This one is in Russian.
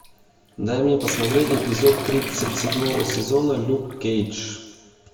дай мне посмотреть эпизод тридцать седьмого сезона люк кейдж